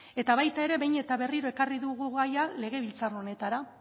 eta baita ere behin eta berriro ekarri dugu gaia legebiltzar honetara